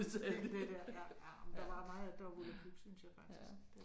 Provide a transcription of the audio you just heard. Helt det der ja ja men der var mange af det der var volapyk synes jeg faktisk